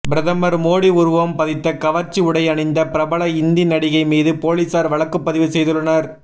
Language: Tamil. பிரதமர் மோடி உருவம் பதித்த கவர்ச்சி உடை அணிந்த பிரபல இந்தி நடிகை மீது போலீசார் வழக்குப்பதிவு செய்துள்ளனர்